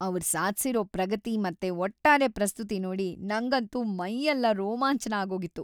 ಅವ್ರ್ ಸಾಧ್ಸಿರೋ ಪ್ರಗತಿ ಮತ್ತೆ ಒಟ್ಟಾರೆ ಪ್ರಸ್ತುತಿ ನೋಡಿ ನಂಗಂತೂ ಮೈಯೆಲ್ಲ ರೋಮಾಂಚನ ಆಗೋಗಿತ್ತು.